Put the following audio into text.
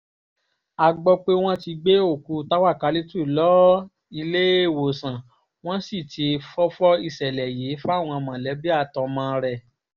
a gbọ́ pé wọ́n ti gbé òkú táwákálítu lọ́ọ́ iléewòsàn wọ́n sì ti fọ́fọ́ ìṣẹ̀lẹ̀ yìí fáwọn mọ̀lẹ́bí àtọmọ rẹ̀